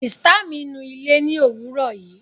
Sìtá mi nu ilé ni òwúrò yìí